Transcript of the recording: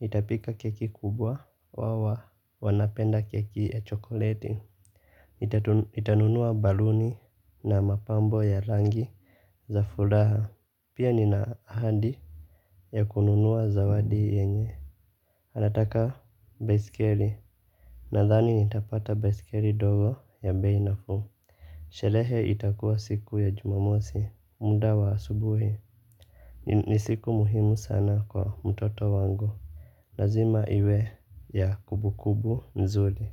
Nitapika keki kubwa. Wao wanapenda keki ya chokoleti. Nitanunua baluni na mapambo ya rangi za furaha. Pia nina ahadi ya kununua zawadi yenye. Anataka baiskeli. Nadhani nitapata baiskeli ndogo ya bei nafuu. Sharehe itakua siku ya jumamosi. Muda wa asubuhi. Ni siku muhimu sana kwa mtoto wangu. Lazima iwe ya kumbukumbu nzuri.